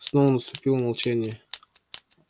снова наступило молчание